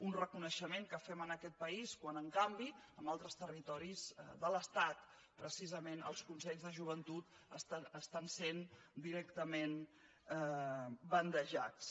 un reconeixement que fem en aquest país quan en canvi en altres territoris de l’estat precisament els consells de joventut estan sent directament bandejats